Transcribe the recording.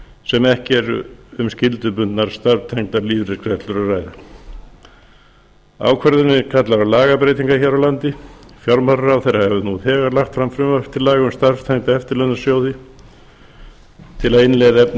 sem ekki er um skyldubundnar starfstengdar lífeyrisgreiðslur að ræða ákvörðunin kallar á lagabreytingar hér á landi fjármálaráðherra hefur þegar lagt fram frumvarp til laga um starfstengda eftirlaunasjóði til að innleiða efni